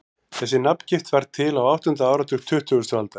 Þessi nafngift varð til á áttunda áratug tuttugustu aldar.